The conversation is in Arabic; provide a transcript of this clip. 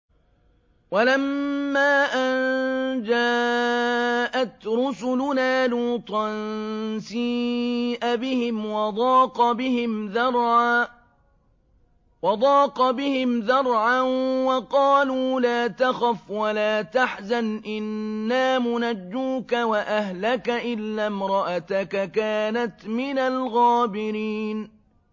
وَلَمَّا أَن جَاءَتْ رُسُلُنَا لُوطًا سِيءَ بِهِمْ وَضَاقَ بِهِمْ ذَرْعًا وَقَالُوا لَا تَخَفْ وَلَا تَحْزَنْ ۖ إِنَّا مُنَجُّوكَ وَأَهْلَكَ إِلَّا امْرَأَتَكَ كَانَتْ مِنَ الْغَابِرِينَ